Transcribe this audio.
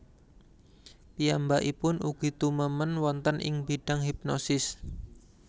Piyambakipun ugi tumemen wonten ing bidang hipnosis